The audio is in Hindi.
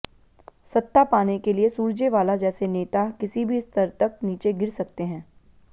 सत्ता पाने के लिए सुरजेवाला जैसे नेता किसी भी स्तर तक नीचे गिर सकते हैं